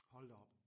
Hold da op